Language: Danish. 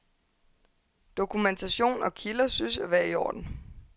Dokumentation og kilder synes at være i orden.